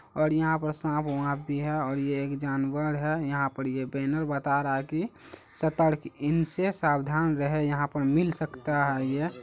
और यहां पे सांप वाप भी है और ये एक जानवर है । यहां पर ये बैनर बाता रहा है की सतर्क इनसे सावधान रहे यहां पे मिल सकता है यह ।